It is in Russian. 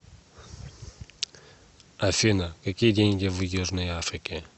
афина какие деньги в южной африке